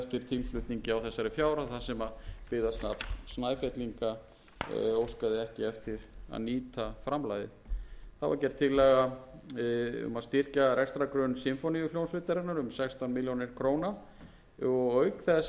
þessari fjárhæð þar sem byggðasafn snæfellinga óskaði ekki eftir að nýta framlagið þá var gerð tillaga um að styrkja rekstrargrunn sinfóníuhljómsveitarinnar um sextán milljónum króna og auk þess gerð tillaga um tuttugu milljónir króna framlag sem ætlað er til